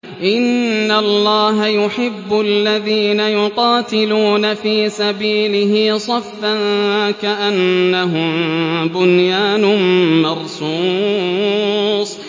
إِنَّ اللَّهَ يُحِبُّ الَّذِينَ يُقَاتِلُونَ فِي سَبِيلِهِ صَفًّا كَأَنَّهُم بُنْيَانٌ مَّرْصُوصٌ